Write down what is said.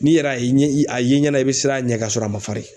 N'i yɛrɛ ye a ye ɲɛna i bɛ siran a ɲɛ ka sɔrɔ a ma farin.